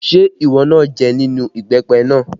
Ṣé ìwọ náà jẹ nínú ìbẹ́pẹ náà?